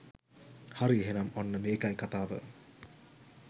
හරි එහෙනම් ඔන්න මේකයි කතාව